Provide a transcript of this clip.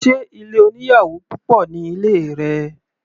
Sé ilé oníyàwò púpọ̀ ní ilé rẹ?